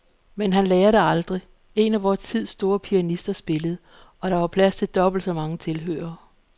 Men han lærer det aldrig. En af vor tids store pianister spillede, og der var plads til dobbelt så mange tilhørere.